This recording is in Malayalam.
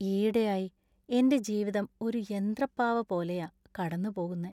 ഈയിടെയായി എന്‍റെ ജീവിതം ഒരു യന്ത്രപ്പാവ പോലെയാ കടന്നുപോകുന്നെ.